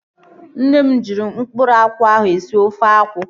Nne m ji mkpụrụ akwụ ahụ esi ofe akwụ